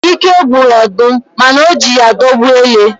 Ike gwụrụ ọdụm, mana o ji ya dọgbuo ele.